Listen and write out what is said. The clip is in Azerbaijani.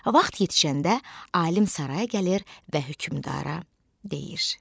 Vaxt yetişəndə alim saraya gəlir və hökmdara deyir: